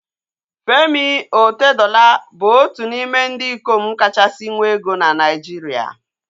Femi Otedola bụ otu n'ime ndị ikom kachasị nwee ego na Naijiria